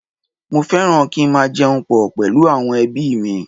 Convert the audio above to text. Mo fẹ́ràn kí n máa jẹun pọ̀ pẹ̀lú àwọn ẹbí mi